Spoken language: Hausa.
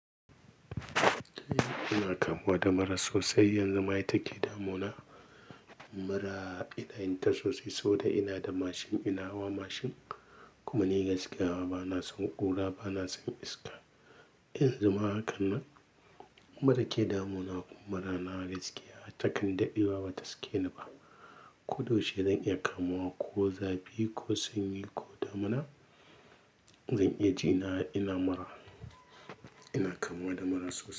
Ina kamuwa da mura sosai, yanzu ma ita ke damuna. Mura ina yinta sosai, sa boda ina da mashin, ina hawa mashin kuma ni gaskiya ba na son ƙura, ba na son iska. Yanzu ma haka nan, mura ke damuna kuma mura na gaskiya takan dadewa ba ta sake ni ba. Ko da yaushe zan iya kamuwa, ko zafi, ko sanyi ko damuna, zan iya ji na, ina mura. Ina kamuwa da mura sosai.